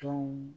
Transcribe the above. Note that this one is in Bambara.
Tɔnw